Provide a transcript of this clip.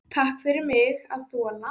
Takk fyrir mig að þola.